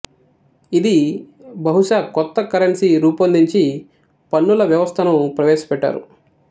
ఇది బహుశా కొత్త కరెన్సీ రూపొందించి పన్నుల వ్యవస్థను ప్రవేశపెట్టారు